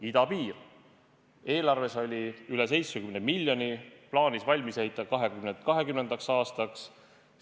Idapiir – eelarves oli üle 70 miljoni, plaanis valmis ehitada 2020. aastaks.